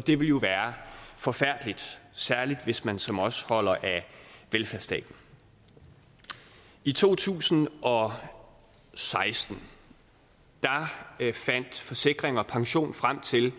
det vil jo være forfærdeligt særlig hvis man som os holder af velfærdsstaten i to tusind og seksten fandt forsikring pension frem til